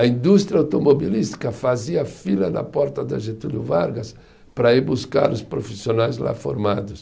A indústria automobilística fazia fila na porta da Getúlio Vargas para ir buscar os profissionais lá formados.